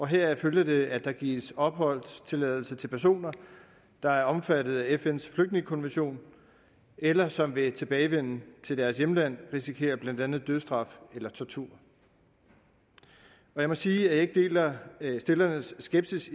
heraf følger det at der gives opholdstilladelse til personer der er omfattet af fns flygtningekonvention eller som ved tilbagevenden til deres hjemland risikerer blandt andet dødsstraf eller tortur jeg må sige at jeg ikke deler stillernes skepsis